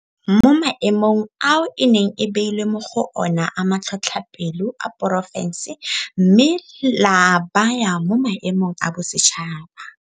Mo maemong ao e neng e beilwe mo go ona a matlhotlhapelo a porofense mme la a baya mo maemong a bosetšhaba.